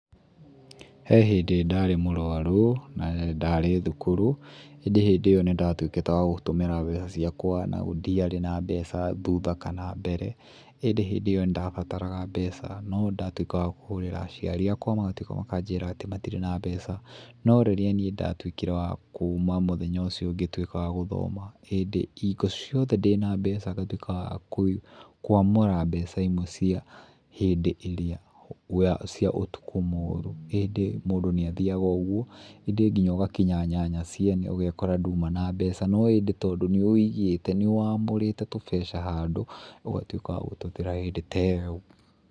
He hĩndĩ ndarĩ mũrwaru na ndarĩ thukuru indĩ ĩyo nĩ ndatuĩkĩte wa gũtũmĩra mbeca ciakwa na gũtiarĩ na mbeca thutha kana mbere. ĩndĩ hĩndĩ ĩyo nĩ ndabataraga mbeca na ndatuĩka wa kũhũrĩra aciari akwa magatuĩka makajĩra atĩ matirĩ na mbeca. No rĩrĩa niĩ ndatuĩkire wa kuuma mũthenya ũcio ngĩtuĩka wa gũthoma ĩndĩ hingo ciothe ndĩna mbeca ngatuĩka wa kũamũra mbeca imwe cia hĩndĩ ĩrĩa cia ũtukũ mũũru. ĩndĩ nginya mũndũ nĩ athiaga ũguo ĩndĩ nginya ũgakinya nyanya ciene ũgekora ndũrĩ mbeca, no hĩndĩ tondũ nĩ ũigĩte nĩwamũrĩte tũbeca handũ, ũgatuĩka wa gũtwetherera hĩndĩ ta ĩyo.